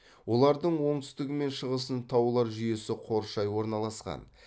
олардың оңтүстігі мен шығысын таулар жүйесі қоршай орналасқан